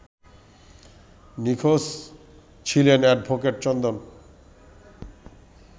নিখোঁজ ছিলেন অ্যাডভোকেট চন্দন